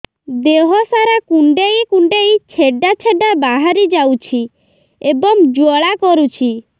ଦେହ ସାରା କୁଣ୍ଡେଇ କୁଣ୍ଡେଇ ଛେଡ଼ା ଛେଡ଼ା ବାହାରି ଯାଉଛି ଏବଂ ଜ୍ୱାଳା କରୁଛି